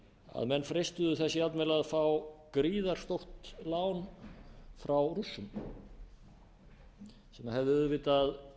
að menn freistuðu þess jafnvel að fá gríðarstórt lán frá rússum sem hefði auðvitað